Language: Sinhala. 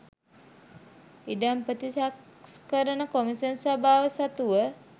ඉඩම් ප්‍රතිසංස්කරණ කොම්ෂන් සභාව සතුව